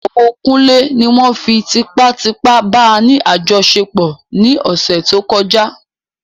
Ìyàwó kunle ní won fí tipá tipá bá ní àjọṣepọ̀ ní ọ̀sẹ̀ tó kọjá